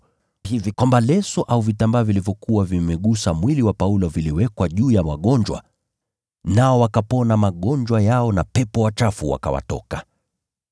hivi kwamba leso au vitambaa vilivyokuwa vimegusa mwili wa Paulo viliwekwa juu ya wagonjwa, nao wakapona magonjwa yao, na pepo wachafu wakawatoka.